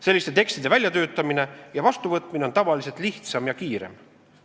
Selliste tekstide väljatöötamine ja vastuvõtmine on tavaliselt lihtsam ja kiirem.